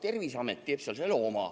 Terviseamet tegi selle enda oma.